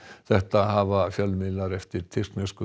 þetta hafa fjölmiðlar eftir tyrkneskum